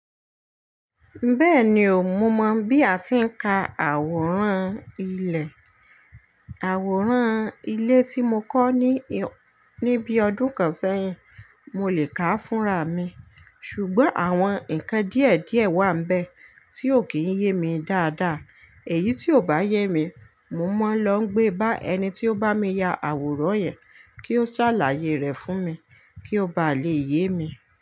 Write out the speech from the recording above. Bẹ́ẹ̀ni o, mo mọ̀ bí a ti ń ka àwòrán ilẹ̀. Àwòrán ilé tí mo kọ́ ní, ní bí ọdún kan sẹ́yìn, mo lè ká fúnra mi, ṣùgbọ́n àwọn ǹkan díẹ̀díẹ̀ wà níbẹ̀ tí ò kí ń yé mi dáadáa. Èyí tí ò bá yé mi, mo máa ń lọ gbé bá ẹni tí ó bá mi ya àwòrán yẹn, kí ó ṣàlàyé rẹ̀ fún mi kí ó bá lè yé mi.